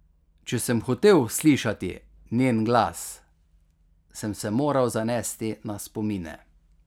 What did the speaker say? Če sem hotel slišati njen glas, sem se moral zanesti na spomine.